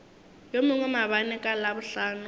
yo mongwe maabane ka labohlano